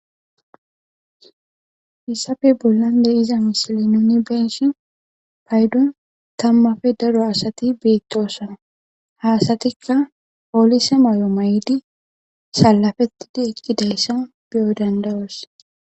Hissafe bollandey iza mishili nuni benshi paydon tammafe daro asati beittosana hasatikka poolise may'o may'idi salafettidi ekki dayssa biyo dandayos.